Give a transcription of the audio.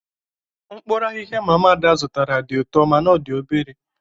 mkpuru ahihia mama ada zụtara di uto mana o di obere